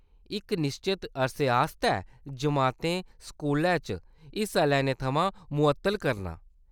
इक निश्चत अरसे आस्तै जमातें स्कूलै च हिस्सा लैने थमां मुअत्तल करना।